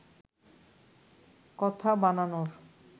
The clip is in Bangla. কথা বানানোর